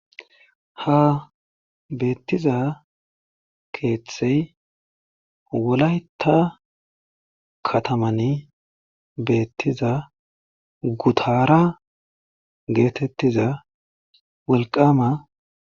Ha beetiza keeththe wolayta katamani beetiza gutara geetetiza wolqama